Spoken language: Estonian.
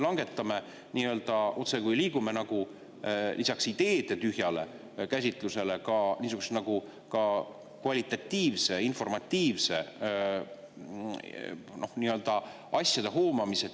Me otsekui liigume lisaks ideede tühjale käsitlusele ka niisuguse kvalitatiivse, informatiivse asjade hoomamise tühjas ruumis, otsuseid.